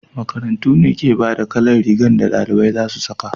makarantu ne ke bada kalan rigan da dalibai za su saka